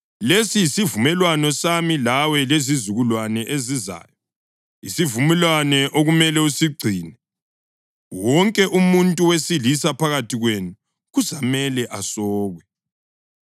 Lesi yisivumelwano sami lawe lezizukulwane ezizayo, isivumelwano okumele usigcine: Wonke umuntu wesilisa phakathi kwenu kuzamele asokwe.